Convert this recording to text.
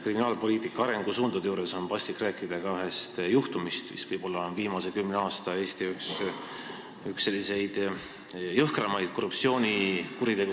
Kriminaalpoliitika arengusuundade juures on paslik rääkida ühest juhtumist, mis võib olla viimase kümne aasta üks jõhkramaid korruptsioonikuritegusid Eestis.